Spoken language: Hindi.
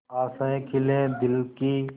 आशाएं खिले दिल की